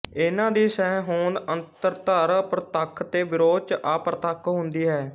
ਇਹਨਾਂ ਦੀ ਸਹਿਹੋਂਦ ਅੰਤਰਦਰ ਪ੍ਰਤੱਖ ਤੇ ਵਿਰੋਧ ਚ ਅਪ੍ਰਤੱਖ ਹੁੰਦੀ ਹੈ